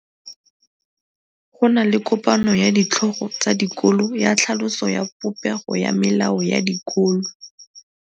Go na le kopanô ya ditlhogo tsa dikolo ya tlhaloso ya popêgô ya melao ya dikolo.